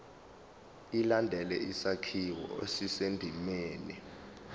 ilandele isakhiwo esisendimeni